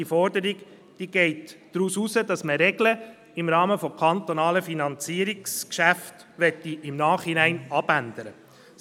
Diese Forderung geht darauf hinaus, dass man Regeln im Rahmen von kantonalen Finanzierungsgeschäften im Nachhinein abändern möchte.